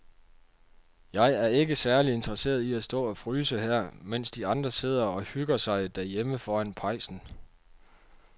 Jeg er ikke særlig interesseret i at stå og fryse her, mens de andre sidder og hygger sig derhjemme foran pejsen.